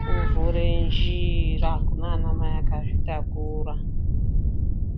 kuvhure njira kunaanamai akazvitakura.